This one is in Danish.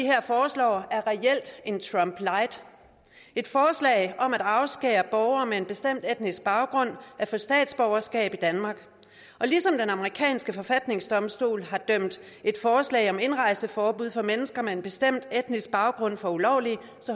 her foreslår er reelt en trump light et forslag om at afskære borgere med en bestemt etnisk baggrund at få statsborgerskab i danmark og ligesom den amerikanske forfatningsdomstol har dømt et forslag om indrejseforbud for mennesker med en bestemt etnisk baggrund for ulovlig